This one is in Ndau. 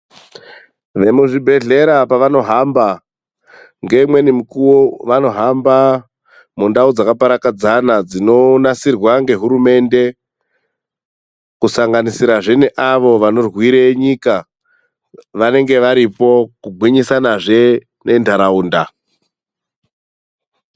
Vemuzvibhedhlera pavanohamba, ngeumwe mukuwo vanohamba mundau dzakaparadzana dzinonasirwa ngehurumende, kusanganisirazve neavo vanorwira nyika vanenge varipo kugwinyisinazve nendaraunda.